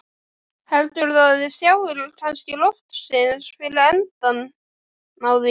Heldurðu að þið sjáið kannski loksins fyrir endann á því?